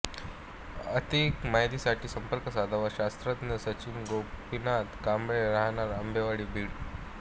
अधिक माहितीसाठी संपर्क साधावा शास्त्रज्ञ सचिन गोपीनाथ कांबळे राहणार आंबेवाडी बीड